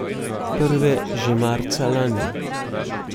Prve že marca lani.